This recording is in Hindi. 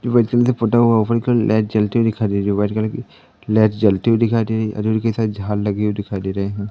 तुम्हें जल्दी फोटो ओपन कर लाइट जलती दिखाई दे रही है व्हाइट कलर की लाइट जलते हुए दिखाई दे रही है और झाल लगी हुई दिखाई दे रही है।